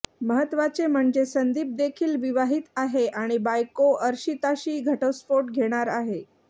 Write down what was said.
महत्त्वाचे म्हणजे संदीप देखील विवाहित आहे आणि बायको अर्शिताशी घटस्फोट घेणार आहे